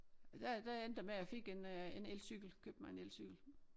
Og der der endte det med jeg fik en øh en elcykel købte mig en elcykel